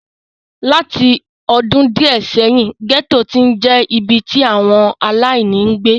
Láti ọdún díẹ̀ sẹ́yìn, gẹ́tò ti ń je ibi tí àwọn aláìní ń gbé.